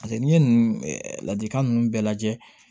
paseke n' ye nun ladilikan nunnu bɛɛ lajɛ